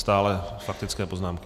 Stále faktické poznámky.